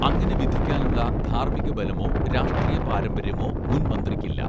അങ്ങനെ വിധിക്കാനുള്ള ധാർമികബലമോ രാഷ്ട്രീയ പാരമ്പര്യമോ മുൻമന്ത്രിയ്ക്ക് ഇല്ല